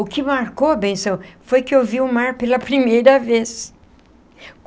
O que marcou, benção, foi que eu vi o mar pela primeira vez.